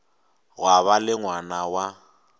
gwa ba le ngwana wa